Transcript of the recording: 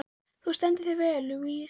Þú stendur þig vel, Louise!